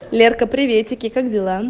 лерка приветики как дела